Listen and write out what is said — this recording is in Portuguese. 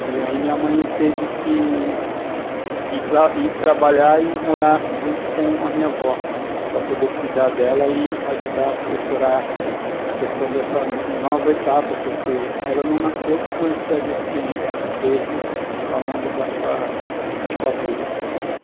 E aí minha mãe teve que ir trabalhar e morar junto com a minha avó, para poder cuidar dela e ajudar, assessorar a questão dessa nova etapa, porque ela não nasceu com essa deficiência, ela teve ao longo da sua a, sua vida.